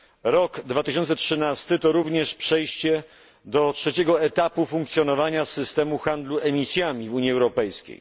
Rok 2013 to również przejście do trzeciego etapu funkcjonowania systemu handlu emisjami w Unii Europejskiej.